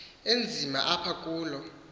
enzima apha kulo